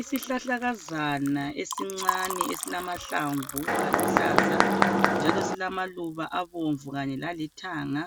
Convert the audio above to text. Isihlahlakazana esincane esilamahlamvu aluhlaza njalo silamaluba abomvu lalithanga.